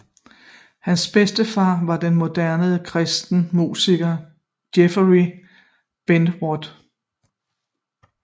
Hans bedstefar var den moderne kristne musiker Jeoffrey Benward